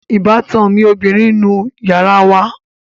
Ìbátan mi ọbìrin ń nu yàrá wa